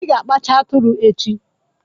Ị ga-akpacha atụrụ echi.